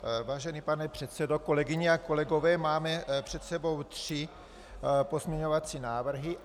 Vážený pane předsedo, kolegyně a kolegové, máme před sebou tři pozměňovací návrhy.